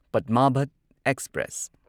Padmavat express